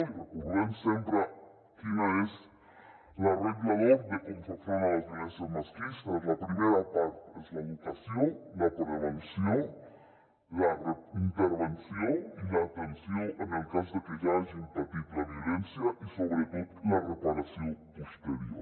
i recordem sempre quina és la regla d’or de com fer front a les violències masclistes la primera part és l’educació la prevenció la intervenció i l’atenció en el cas de que ja hagin patit la violència i sobretot la reparació posterior